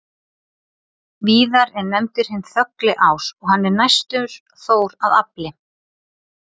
Víðar er nefndur hinn þögli ás og hann er næstur Þór að afli.